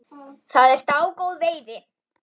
Það er dágóð veiði.